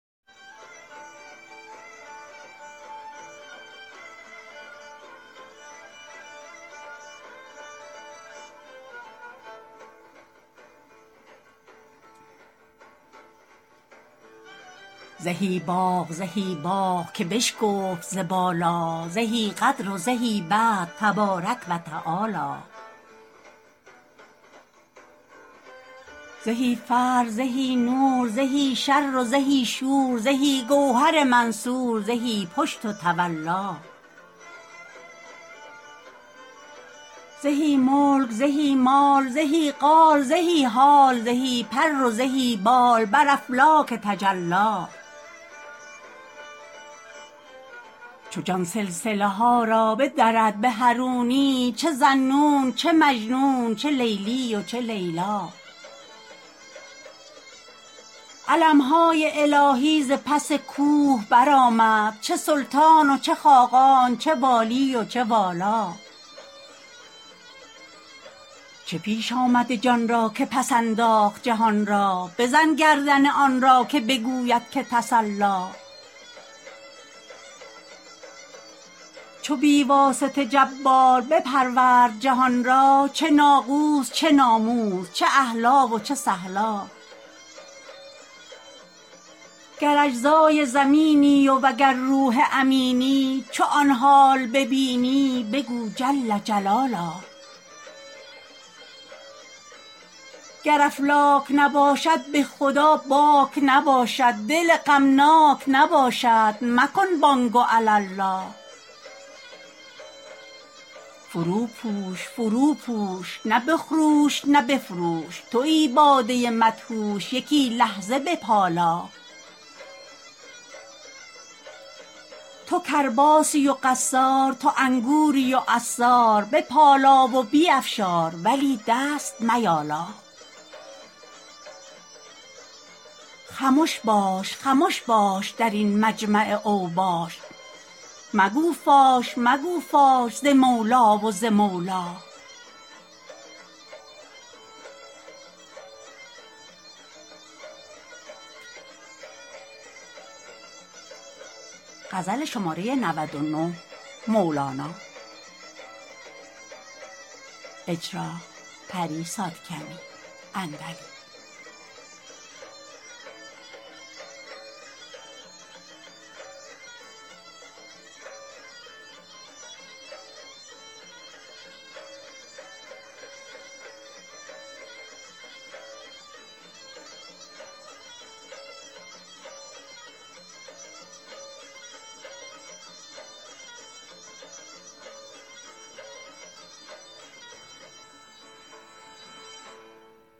زهی باغ زهی باغ که بشکفت ز بالا زهی قدر و زهی بدر تبارک و تعالی زهی فر زهی نور زهی شر زهی شور زهی گوهر منثور زهی پشت و تولا زهی ملک زهی مال زهی قال زهی حال زهی پر و زهی بال بر افلاک تجلی چو جان سلسله ها را بدرد به حرونی چه ذاالنون چه مجنون چه لیلی و چه لیلا علم های الهی ز پس کوه برآمد چه سلطان و چه خاقان چه والی و چه والا چه پیش آمد جان را که پس انداخت جهان را بزن گردن آن را که بگوید که تسلا چو بی واسطه جبار بپرورد جهان را چه ناقوس چه ناموس چه اهلا و چه سهلا گر اجزای زمینی وگر روح امینی چو آن حال ببینی بگو جل جلالا گر افلاک نباشد به خدا باک نباشد دل غمناک نباشد مکن بانگ و علالا فروپوش فروپوش نه بخروش نه بفروش توی باده مدهوش یکی لحظه بپالا تو کرباسی و قصار تو انگوری و عصار بپالا و بیفشار ولی دست میالا خمش باش خمش باش در این مجمع اوباش مگو فاش مگو فاش ز مولی و ز مولا